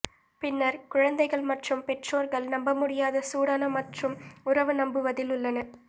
பின்னர் குழந்தைகள் மற்றும் பெற்றோர்கள் நம்பமுடியாத சூடான மற்றும் உறவு நம்புவதில் உள்ளன